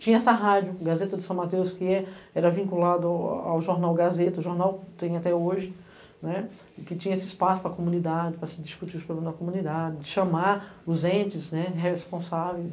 Tinha essa rádio, Gazeta de São Mateus, que era vinculada ao jornal Gazeta, jornal que tem até hoje, né, que tinha esse espaço para a comunidade, para se discutir os problemas da comunidade, chamar os entes responsáveis.